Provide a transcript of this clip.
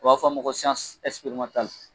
U b'a fɔ a ma ko